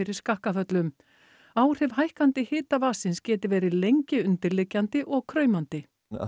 skakkaföllum áhrif hækkandi hita vatnsins geti verið lengi undirliggjandi og kraumandi